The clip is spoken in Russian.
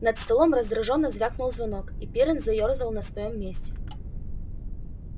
над столом раздражённо звякнул звонок и пиренн заёрзал на своём месте